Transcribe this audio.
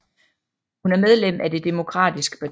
Hun er medlem af det demokratiske parti